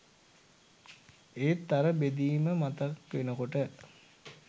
ඒත් අර බෙදීම මතක් වෙනකොට